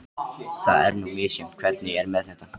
Það er nú misjafnt hvernig er með þetta.